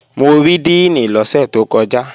Mo rí díìnì lọ́sẹ̀ tó kọjá